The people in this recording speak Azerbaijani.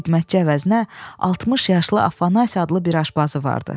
Xidmətçi əvəzinə 60 yaşlı Afanasi adında bir aşpazı vardı.